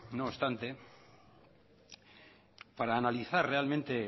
no obstante para analizar realmente